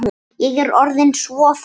Ég er orðin svo þreytt.